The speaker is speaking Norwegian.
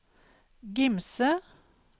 Gimse